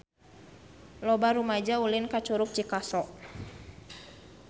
Loba rumaja ulin ka Curug Cikaso